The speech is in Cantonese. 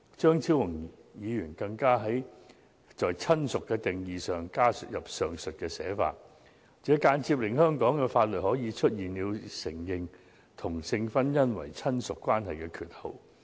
張超雄議員更在"親屬"的定義加入上述寫法，間接令香港法律出現承認同性婚姻為親屬關係的缺口。